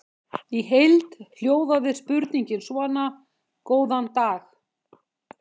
Í heild hljóðaði spurningin svona: Góðan dag.